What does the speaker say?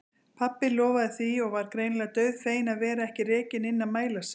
Pabbi lofaði því og var greinilega dauðfeginn að vera ekki rekinn inn að mæla sig.